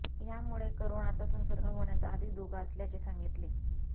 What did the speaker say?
यामुळे करोनाचा संसर्ग होण्याचा अधिक धोका असल्याचे सांगितले